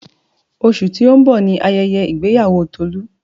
Oṣù tó ń bọ̀ ni ayẹyẹ ìgbéyàwó Tolu